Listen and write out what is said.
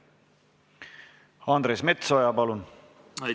Andres Metsoja, palun!